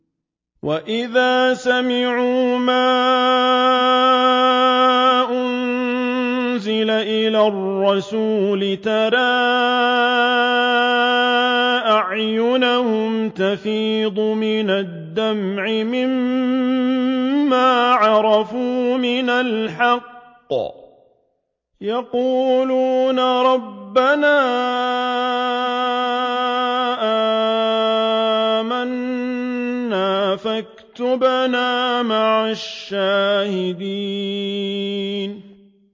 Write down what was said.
وَإِذَا سَمِعُوا مَا أُنزِلَ إِلَى الرَّسُولِ تَرَىٰ أَعْيُنَهُمْ تَفِيضُ مِنَ الدَّمْعِ مِمَّا عَرَفُوا مِنَ الْحَقِّ ۖ يَقُولُونَ رَبَّنَا آمَنَّا فَاكْتُبْنَا مَعَ الشَّاهِدِينَ